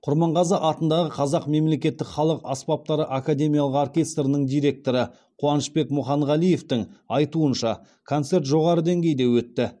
құрманғазы атындағы қазақ мемлекеттік халық аспаптары академиялық оркестрінің директоры қуанышбек мұханғалиевтің айтуынша концерт жоғары деңгейде өтті